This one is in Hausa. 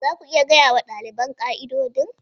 Za ku iya gaya wa ɗaliban ƙa'idodin?